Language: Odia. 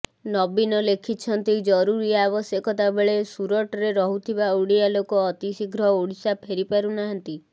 ନବୀନ ଲେଖିଛନ୍ତି ଜରୁରୀ ଆବଶ୍ୟକତା ବେଳେ ସୁରଟରେ ରହୁଥିବା ଓଡିଆ ଲୋକ ଅତିଶୀଘ୍ର ଓଡିଶା ଫେରିପାରୁନାହାଁନ୍ତି